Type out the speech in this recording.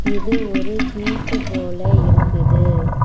இது ஒரு பீச்சு போல இருக்குது.